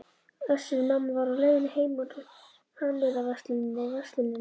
Össur-Mamma var á leiðinni heim úr hannyrðaversluninni, Verslunin